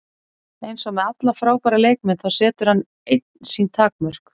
Eins og með alla frábæra leikmenn, þá setur hann einn sín takmörk.